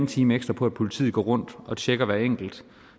time ekstra på at politiet går rundt og tjekker hver enkelt